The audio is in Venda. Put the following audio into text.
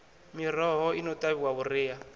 miroho i no ṱavhiwa vhuriha